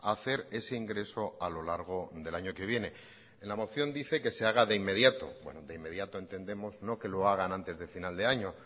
a hacer ese ingreso a lo largo del año que viene en la moción dice que se haga de inmediato bueno de inmediato entendemos no que lo hagan antes de final de año